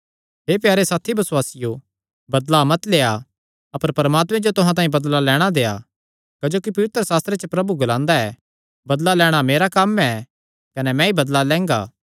हे प्यारे साथी बसुआसियो बदला मत लेआ अपर परमात्मे जो तुहां तांई बदला लैणां देआ क्जोकि पवित्रशास्त्रे च प्रभु ग्लांदा ऐ बदला लैणां मेरा कम्म ऐ कने मैंई बदला लैंगा